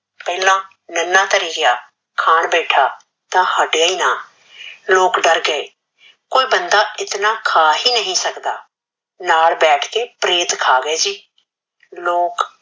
ਪਹਲਾ ਨਨਾ ਥਰੀ ਗਯਾ ਖਾਨ ਬੈਠਾ ਤਾ ਹਟਇਆ ਨਾ ਲੋਕ ਡਰ ਗਏ ਕੋਈ ਬੰਦਾ ਇਤਨਾ ਖਾ ਹੀ ਨਹੀ ਸਖਦਾ ਨਾਲ ਬੈਠ ਕੇ ਪ੍ਰੇਤ ਖਾ ਗਏ ਸੀ ਲੋਕ